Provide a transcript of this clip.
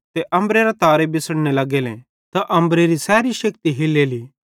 त अम्बरेरां तारे बिछ़ड़ने लग्गेले त अम्बरेरी सैरी शेक्ति हिल्लेली